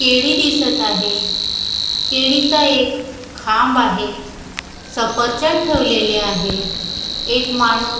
केळी दिसत आहे केळी चा एक खांब आहे सफरचंद ठेवलेले आहे एक माणूस--